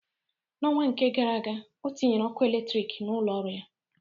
N'ọnwa nke gara aga, o tinyere ọkụ eletrik n'ụlọ ọrụ ya.